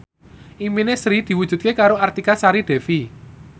impine Sri diwujudke karo Artika Sari Devi